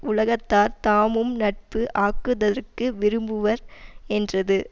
உலகத்தார் தாமும் நட்பு ஆகுதற்கு விரும்புவர் என்றது